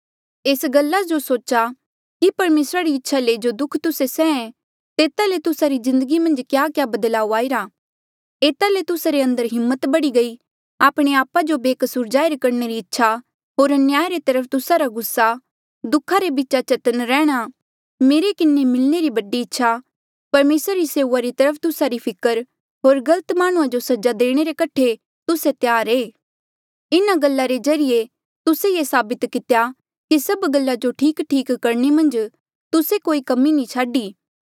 एस गला जो सोचा कि परमेसरा री इच्छा ले जो दुःख तुस्से सहेया तेता ले तुस्सा री जिन्दगी मन्झ क्याक्या बदलाऊ आईरा एता ले तुस्सा रे अंदर हिम्मत बढ़ी गई आपणे आपा जो बेकसूर जाहिर करणे री इच्छा होर अन्याय रे तरफ तुस्सा रा गुस्सा दुखा रे बीचा चतन्न रहणा मेरे किन्हें मिलणे री बढ़ी इच्छा परमेसरा री सेऊआ री तरफ तुस्सा री फिकर होर गलत माह्णुं जो सजा देणे रे कठे तुस्से त्यार ऐें इन्हा गल्ला रे ज्रीए तुस्से ये साबित कितेया कि सब गल्ला जो ठीकठीक करणे मन्झ तुस्से कोई कमी नी छाडी